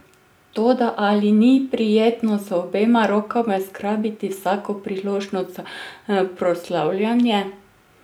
Toda ali ni prijetno z obema rokama zgrabiti vsako priložnost za proslavljanje?